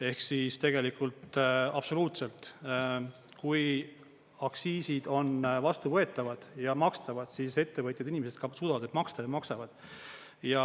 Ehk siis tegelikult, absoluutselt, kui aktsiisid on vastuvõetavad ja makstavad, siis ettevõtjad, inimesed ka suudavad neid maksta ja maksavad.